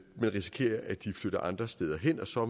risikerer at de flytter andre steder hen og så